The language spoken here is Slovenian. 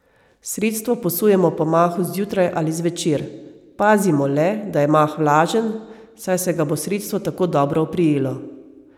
Sredstvo posujemo po mahu zjutraj ali zvečer, pazimo le, da je mah vlažen, saj se ga bo sredstvo tako dobro oprijelo.